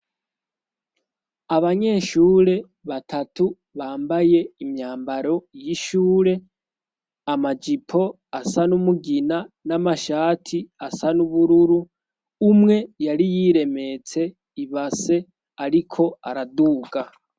abanyeshure batatu bambaye imyambaro y'ishure amajipo asa n'umugina n'amashati asa n'ubururu umwe yari yiremetse ibase ariko araduga